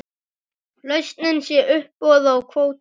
Lausnin sé uppboð á kvóta.